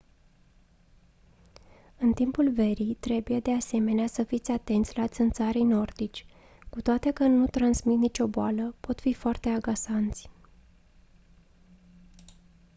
în timpul verii trebuie de asemenea să fiți atenți la țânțarii nordici cu toate că nu transmit nicio boală pot fi foarte agasanți